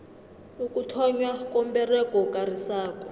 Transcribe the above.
ukuthonnywa komberego okarisako